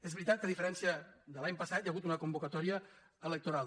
és veritat que a diferència de l’any passat hi ha hagut una convocatòria electoral